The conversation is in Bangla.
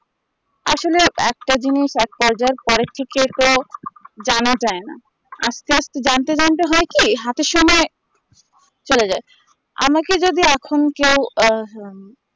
আসলে একটা জিনিস এক culture